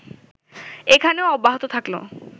এখানেও অব্যাহত থাকলো